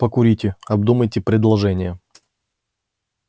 покурите обдумайте предложение